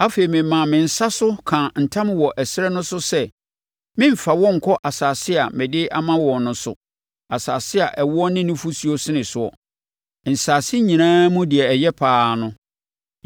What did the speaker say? Afei memaa me nsa so kaa ntam wɔ ɛserɛ no so sɛ meremfa wɔn nkɔ asase a mede ama wɔn no so, asase a ɛwoɔ ne nufosuo sene soɔ, nsase nyinaa mu deɛ ɛyɛ pa ara no,